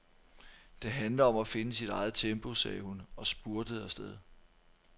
Det handler om at finde sit eget tempo, sagde hun og spurtede afsted.